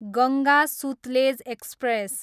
Ganga Sutlej express